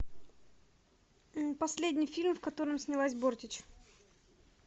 последний фильм в котором снялась бортич